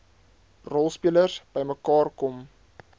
rolspelers bymekaar kom